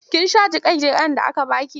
Kin sha jiƙe-jiƙen da aka ba ki?